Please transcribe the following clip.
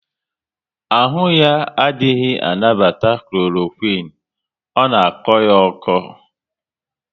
Ahụ ya adịghị anabata Kloroquine, ọ na akọ ya oko